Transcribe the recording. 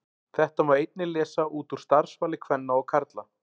Þetta má einnig lesa út úr starfsvali kvenna og karla.